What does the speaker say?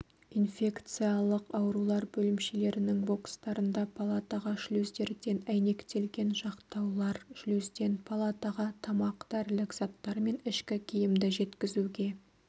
инфекциялық аурулар бөлімшелерінің бокстарында палатаға шлюздерден әйнектелген жақтаулар шлюзден палатаға тамақ дәрілік заттар мен ішкі киімді жеткізуге